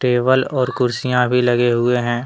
Table और कुर्सियां भी लगे हुए हैं।